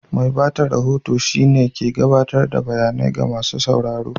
Mai ba da rahoto shine wanɗa ke gaɓatar da bayanai ga masu sauraro.